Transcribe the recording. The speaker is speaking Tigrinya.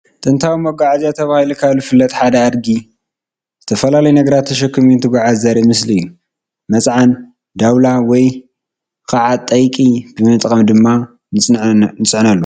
ጥንታዊ መጓዓዝያታት ተባሂሎም ካብ ዝፍለጡ ሓደ ዝኾነ ኣድጊ ዝተፈላለዩ ነገራት ተሸኪሙ እንትጎዓዝ ዘርኢ ምስሊ እዩ፡፡ መፅዓን፣ ዳውላ ወይ ከዓ ጠይቂ ብምጥቃም ድማ ንፅዕነሉ፡፡